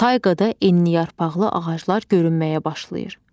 Tayqada enliyarpaqlı ağaclar görünməyə başlayır.